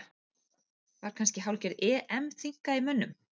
Var kannski hálfgerð EM þynnka í mönnum?